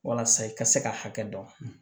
Walasa i ka se ka hakɛ dɔn